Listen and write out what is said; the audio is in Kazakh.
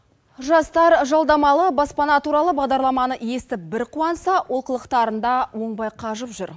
жастар жалдамалы баспана туралы бағдарламаны естіп бір қуанса олқылықтарында оңбай қажып жүр